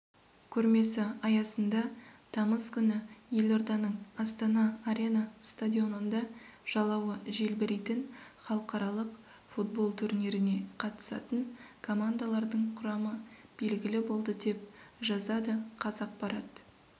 көрмесі аясында тамыз күні елорданың астана арена стадионында жалауы желбірейтін халықаралық футбол турниріне қатысатын командалардың құрамы белгілі болды деп жазадықазақпарат